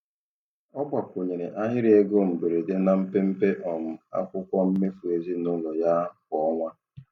Ọ gbakwunyere ahịrị ego mberede na mpempe um akwụkwọ mmefu ezinụlọ ya kwa ọnwa.